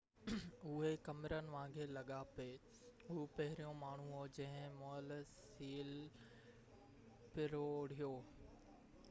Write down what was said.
اهي ڪمرن وانگر لڳا پي هو پهريون ماڻهو هو جنهن مئل سيل پروڙيو